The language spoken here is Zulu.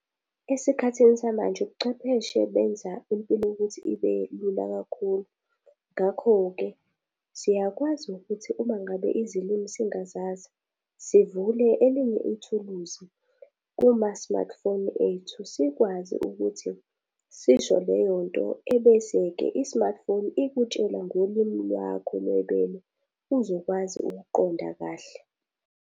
Esikhathini samanje ubuchwepheshe benza impilo ukuthi ibe lula kakhulu. Ngakho-ke, siyakwazi ukuthi uma ngabe izilimi singazazi sivule elinye ithuluzi kuma-smartphone ethu sikwazi ukuthi sisho leyo nto, ebese-ke i-smartphone ikutshela ngolimi lwakho lwebele uzokwazi ukuqonda kahle.